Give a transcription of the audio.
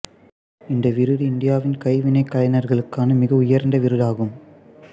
இந்த விருது இந்தியாவின் கைவினைக் கலைஞர்களுக்கான மிக உயர்ந்த விருது ஆகும்